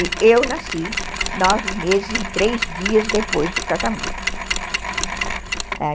E eu nasci nove meses e três dias depois do casamento.